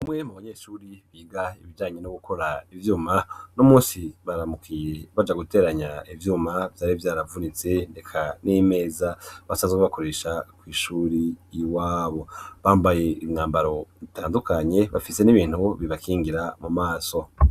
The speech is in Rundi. Umwe mu banyeshure biga ibijyanye no gukora ivyuma nuno munsi baramukiye baja guteranya ivyuma vyari vyaravunitse eka n'imeza basanzwe bakoresha ku ishure iwabo bambaye imyambaro bitandukanye bafise n'ibintu bibakingira mu maso.